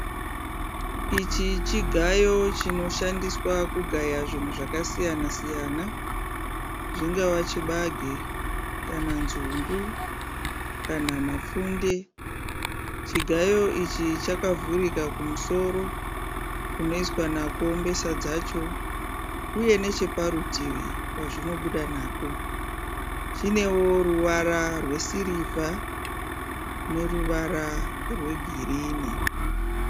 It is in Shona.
Ichi chigayo chinoshandiswa kugaya zvinhu zvakasiyana siyana zvingava chibage kana nzungu kana mapfunde. Chigayo ichi chakavhurika kumusoro kunoiswa nako mbesa dzacho uye necheparutivi pazvinobuda nako. Chinewo ruvara rwesirivha neruvara rwegirinhi.